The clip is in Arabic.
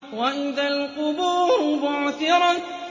وَإِذَا الْقُبُورُ بُعْثِرَتْ